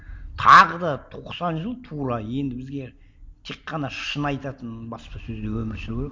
тағы да тоқсан жыл тура енді бізге тек қана шын айтатын баспасөзде өмір сүру керек